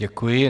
Děkuji.